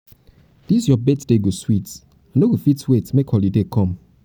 dis your birthday go sweet i no go fit wait make holiday come.